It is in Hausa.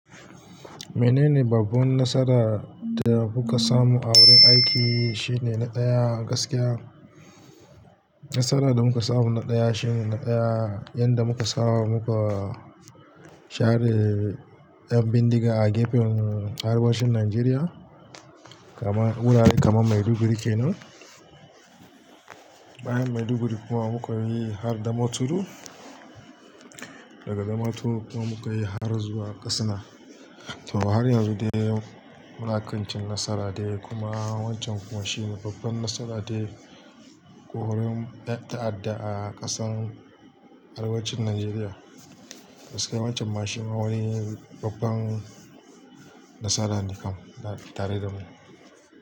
Menene babban nasara da kuka samu a wurin aiki, shine na ɗaya gaskiya. Nasara da muka samu na ɗaya shine na ɗaya, yanda muka saba muka share 'yan bindiga a gefen arewacin Najeriya. Kaman wurare kamar Maiduguri kenan. Bayan Maiduguri kuma muka yi har Damaturu. Daga Damaturu kuma muka yi har zuwa Katsina. To har yanzu dai munakanci nasara dai kuma wancan kuma shine babban nasara dai ko wurin ta'adda a ƙasan arewacin Najeriya. Gaskiya wancan mashin wani babban nasara ne kam tare da mu.